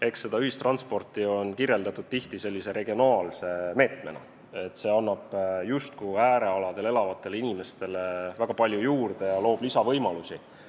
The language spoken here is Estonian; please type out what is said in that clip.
Eks seda ühistransporti on kirjeldatud tihti sellise regionaalse meetmena, sest see annab justkui äärealadel elavatele inimestele väga palju juurde ja loob lisavõimalusi.